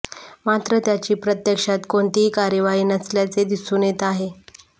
मात्र त्याची प्रत्यक्षात कोणतीही कार्यवाही नसल्याचे दिसून येत आहे